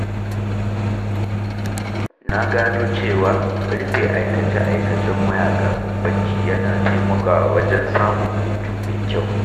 Na gano cewa rufe aikace-aikacen waya kafin barci yana taimakawa wajen samun hutu mai kyau.